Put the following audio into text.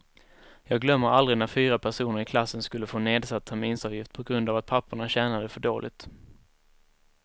Jag glömmer aldrig när fyra personer i klassen skulle få nedsatt terminsavgift på grund av att papporna tjänade för dåligt.